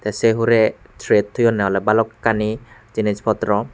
tay sei hurey tret toyonne ole balokkani jinis potro.